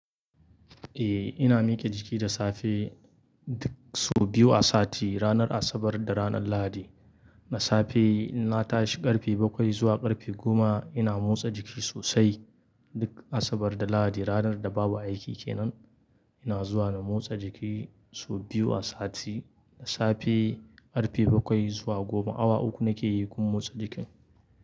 Eh, ina mike jiki da safe sau biyu a sati, ranar Asabar da ranar Lahadi. Na safe in na tashi ƙarfe bakwai zuwa ƙarfe goma ina motsa jiki sosai. Duk Asabar da Lahadi, ranar da babu aiki ke nan, ina zuwa na motsa jiki sau biyu a sati. Da safe ƙarfe bakwai zuwa goma, awa uku nake yi gun motsa jiki.